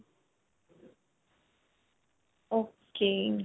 ok.